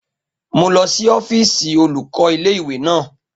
Mo lọ sí ọ́fíìsì olùkọ́ ilé ìwé naa